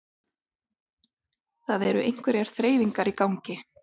Það eru einhverjar þreifingar í gangi